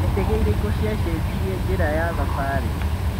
Nĩ ndege ĩrĩkũ ciacenjirie njĩra ya thabari?